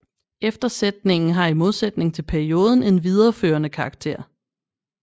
Eftersætningen har i modsætning til perioden en videreførende karakter